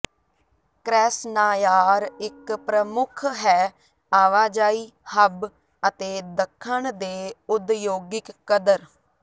ਕ੍ਰੈਸ੍ਨਾਯਾਰ ਇੱਕ ਪ੍ਰਮੁੱਖ ਹੈ ਆਵਾਜਾਈ ਹੱਬ ਅਤੇ ਦੱਖਣ ਦੇ ਉਦਯੋਗਿਕ ਕਦਰ